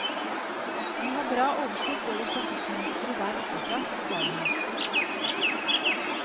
Vi har bra oversikt over trafikkmønsteret der oppe fra, forklarer han.